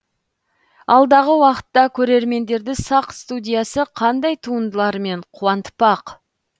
алдағы уақытта көрермендерді сақ студиясы қандай туындыларымен қуантпақ